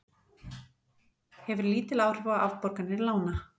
Hefur lítil áhrif á afborganir lána